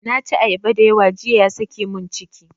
Na ci ayaba dayawa jiya ya sake mun ciki.